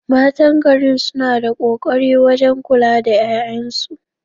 Matan garin suna da ƙoƙari wajen kula da ƴaƴansu